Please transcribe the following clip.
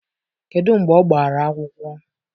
Kedu mgbe ọ gbara akwụkwọ?